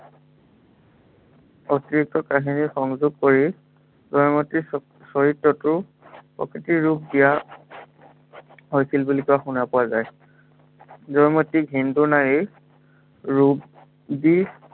অতিৰিক্ত কাহিনী সংযোগ কৰি, জয়মতীৰ চৰিত্ৰটো প্ৰকৃিতৰ ৰূপ দিয়া হৈছিল বুলি শুনা পোৱা যায়। জয়মতীক হিন্দু নাৰীৰ, ৰূপ দি